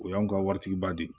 O y'anw ka waritigi ba de ye